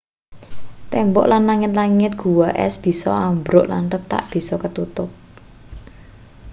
tembok lan langit-langit gua es bisa ambruk lan retak bisa ketutup